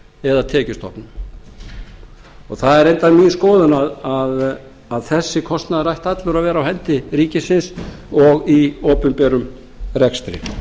eða tekjustofnum það er reyndar mín skoðun að þessi kostnaður ætti allur að vera á hendi ríkisins og í opinberum rekstri